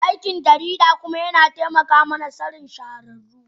Aikin jarida kuma yana taimaka mana Sanin shahararru.